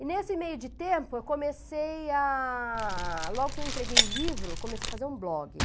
E nesse meio de tempo, eu comecei a... Logo que eu entreguei o livro, eu comecei a fazer um blog.